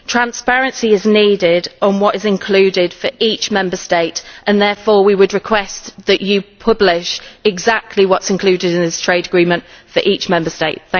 Transparency is needed on what is included for each Member State, and therefore we would request that you publish exactly what is included in this trade agreement for each Member State.